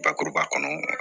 Bakuruba kɔnɔ